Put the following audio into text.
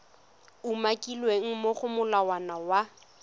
umakilweng mo go molawana wa